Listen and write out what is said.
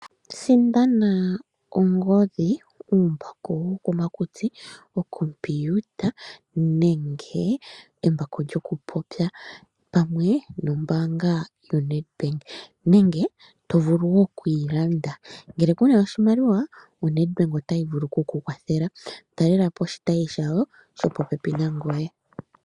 Sindana ongodhi, uumbako wokomakutsi, okompiuta nenge embako lyokupopya pamwe nombaanga yoNedbank, nenge to vulu wo okuyi landa. Ngele ku na oshimaliwa oNedbank ota vulu oku ku kwathela. Talela po oshitayi shawo shopopepi nangoye.